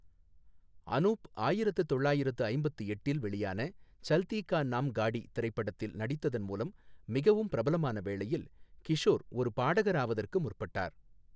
அனூப் ஆயிரத்து தொள்ளாயிரத்து ஐம்பத்து எட்டில் வெளியான சல்தீ கா நாம் காடி திரைப்படத்தில் நடித்ததன் மூலம் மிகவும் பிரபலமான வேளையில், கிஷோர் ஒரு பாடகர் ஆவதற்கு முற்பட்டார்.